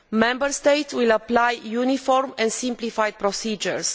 Member States will apply uniform and simplified procedures.